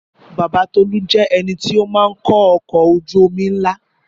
Bàbá Tọlú jẹ́ ẹnití ó máa ń kó ọkọ̀ ojú omi ńlá